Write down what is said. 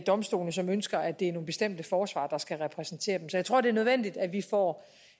domstolene som ønsker at det er nogle bestemte forsvarere der skal repræsentere dem så jeg tror det er nødvendigt at vi får